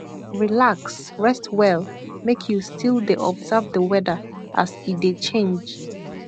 relax rest well make you still dey observe the weather as e dey change